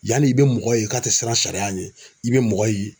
Yani i bɛ mɔgɔ ye k'a tɛ siran sariya ɲɛ i bɛ mɔgɔ ye